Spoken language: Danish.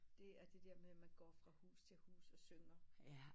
Det er der med at man går fra hus til hus og synger